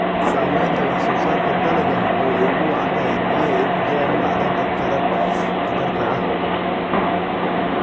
Saamaynta wax-soo-saarka dalagga oo ay ugu wacan tahay biyaha ay ku jiraan macdanta khatarta ah.